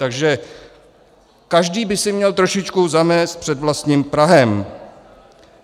Takže každý by si měl trošičku zamést před vlastním prahem.